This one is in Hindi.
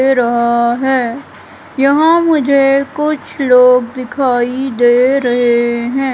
दे रहा है यहां मुझे कुछ लोग दिखाई दे रहे हैं।